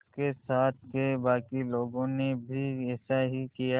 उसके साथ के बाकी लोगों ने भी ऐसा ही किया